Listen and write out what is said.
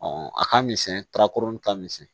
a ka misɛn ka kurun ka misɛn